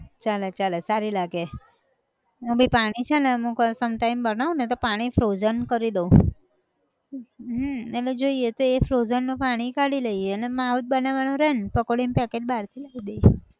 ચાલે ચાલે, સારી લાગે, એનું બી પાણી છે ને અમુક વાર sometime બનાવું ને તો પાણી frozen કરી દઉં, હમ એટલે જોઈએ તો એ frozen નું પાણી કાઢી લઈએ, ને માવો જ બનવાનો રેહ ન, પકોડી નું packet બહાર થી લાયી દઈએ.